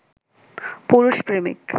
পুরুষ প্রেমিক